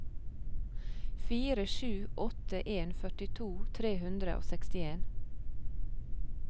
fire sju åtte en førtito tre hundre og sekstien